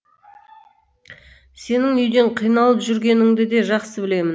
сенің үйден қиналып жүргеніңді де жақсы білемін